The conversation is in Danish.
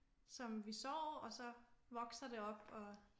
Som vi sår og så vokser det op og